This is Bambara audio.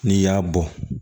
N'i y'a bɔ